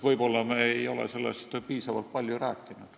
Võib-olla me ei ole sellest piisavalt palju rääkinud.